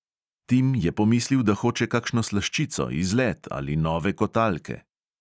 Tim je pomislil, da hoče kakšno slaščico, izlet ali nove kotalke.